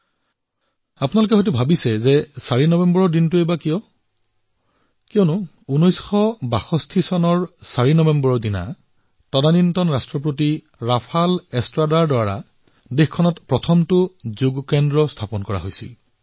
এতিয়া আপোনালোকে হয়তো ভাবিব পাৰে যে ৪ নৱেম্বৰ তাৰিখটো কিয় বিশেষ ৪ নৱেম্বৰ ১৯৬২ তাৰিখে চিলিৰ প্ৰথম যোগ সংস্থা হোজে ৰাফাল এষ্ট্ৰাৰাৰ দ্বাৰা স্থাপন কৰা হৈছিল